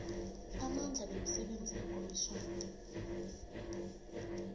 amandla nemisebenzi yekomitjhana